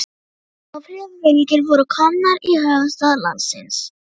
Ófriðarfylgjur voru komnar í höfuðstað landsins.